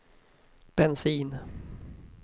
bensin